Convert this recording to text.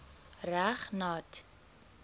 reg nat